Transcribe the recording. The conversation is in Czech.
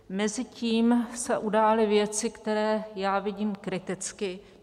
Mezitím se udály věci, které já vidím kriticky.